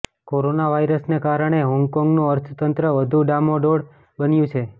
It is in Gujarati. કોરોના વાઈરસને કારણે હોંગકોંગનું અર્થતંત્ર વધુ ડામાડોળ બન્યું છે